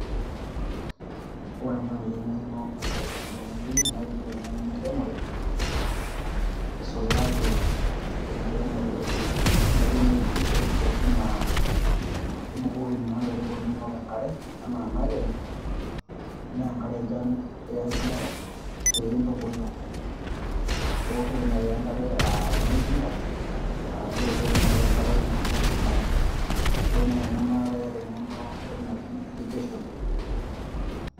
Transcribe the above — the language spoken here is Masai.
Ore nai eng'eno nayieu oltung'ani tenewei, na iyieu eng'eno enkiremore, eisulaki enkiremore naji ene irrigation oshi naa ibukoki naa inkaitubulu nonok enkare, ana naakenyu, menkare enchan ianyu pintubulu. Iwoshoki nai enkare ah ena oltinka, arashu iwoshoki nai enkare naing'ua osilanke. Na keyieu nai ena na iyata eng'eno entoki naji irrigation.